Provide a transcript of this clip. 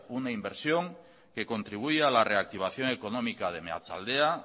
una inversión que contribuye a la reactivación económica de meatzaldea